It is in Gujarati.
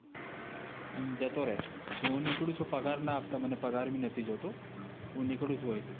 એમ જતો રહે કે, હું નીકળું છું. પગાર ના આપતા મને, પગાર ભી નથી જોતો. હું નીકળું છું અહીંથી.